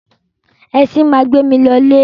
Ẹṣin máa gbé mi lọ ilé.